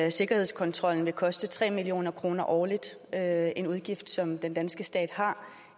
at sikkerhedskontrollen vil koste tre million kroner årligt det er en udgift som den danske stat har